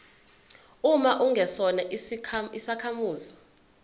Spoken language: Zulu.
uma ungesona isakhamuzi